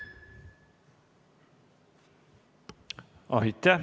Aitäh!